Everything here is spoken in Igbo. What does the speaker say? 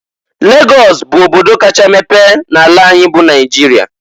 Lagọs bụ obodo kacha mepe n'ala anyị bụ Naịjịrịa.